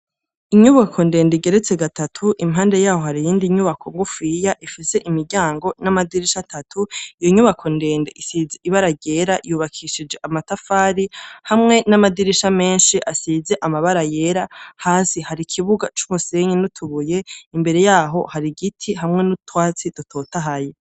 Inyubako ndende igeretse gatatu impande yaho hari iyindi nyubako ngufiya ifise imiryango n'amadirisha atatu iyo nyubako ndende isize ibara ryera yubakishije amatafari hamwe n'amadirisha menshi asize amabara yera hasi hari ikibuga c'umusenyi n'utubuye imbere yaho hari igiti hamwe n'utwatsi totahaye.